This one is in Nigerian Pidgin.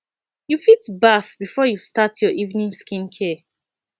you fit bath before you start your evening skin care